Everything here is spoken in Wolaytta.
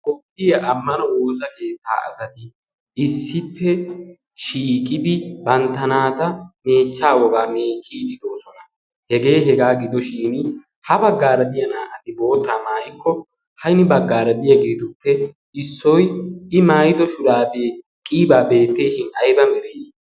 kopphiya ammano woosa keettaa asati issippe shiiqidi bantta naata meechcha wogaa meecciididoosona hegee hegaa gido shin ha baggaaradiya naa77ati boottaa maayikko haini baggaara diya giiduppe issoi i maayido shuraa beeqqiibaa beetteeshin aiba mereii